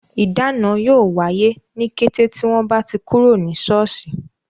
Ìdáná yóò wáyé, ní kété tí wọ́n bá ti kúrò ní soosi